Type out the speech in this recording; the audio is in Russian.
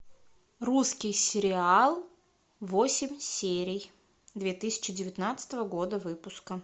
русский сериал восемь серий две тысячи девятнадцатого года выпуска